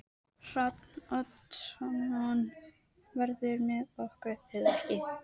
Hrafn Oddsson verður með okkur eða ekki.